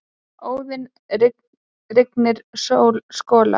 Óðinn: Rigning skolar.